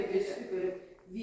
Axıranı da bilmirəm.